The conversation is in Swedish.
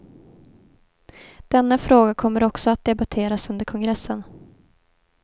Denna fråga kommer också att debatteras under kongressen.